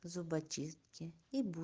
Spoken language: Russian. зубочистки и бу